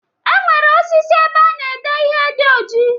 E nwere osisi ebe a na-ede ihe dị ojii.